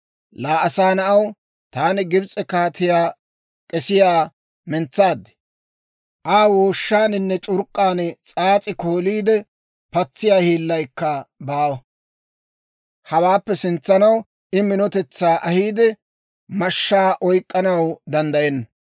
«Laa asaa na'aw, taani Gibs'e kaatiyaa k'esiyaa mentsaad; Aa wooshshaaninne c'urk'k'aan s'aas'i kooliide patsiyaa hiillaykka baawa; hawaappe sintsanaw I minotetsaa ahiide, mashshaa oyk'k'anaw danddayenna.